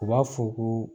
U b'a fɔ ko